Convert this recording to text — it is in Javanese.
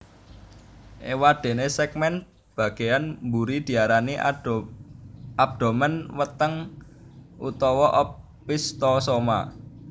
Éwadéné sègmèn bagéyan mburi diarani abdomen weteng utawa opisthosoma